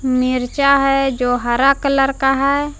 मिर्चा है जो हरा कलर का है।